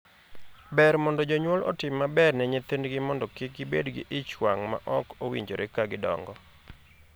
Ber mondo jonyuol otim maber ne nyithindgi mondo kik gibed gi ich wang' ma ok owinjore ka gidongo.